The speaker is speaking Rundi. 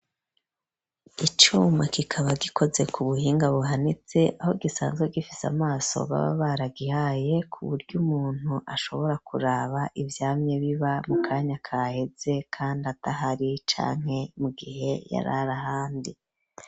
Icuma kikaba gikoze ku buhinga buhanitse aho gisanzwe gifise amaso baba baragihaye ku buryo umuntu ashobora kuraba iv yamye biba mu kanya kaheze kandi adahari canke mu gihe yarara ahandi.